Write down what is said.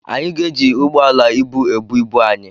Anyị ga-eji ụgbọala ibu ebu ibu anyị.